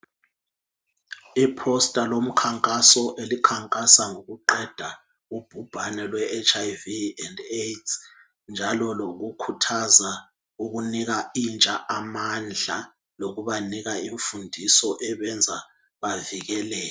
Iposter lomkhankaso elikhankasa ngokuqeda ubhubhano lweHiv le Aids njalo lokukhuthaza ukunika intsha amandla lokubanika imfundiso eyenza bavikeleke.